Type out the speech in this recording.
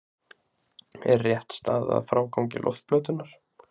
Er rétt staðið að frágangi loftplötunnar?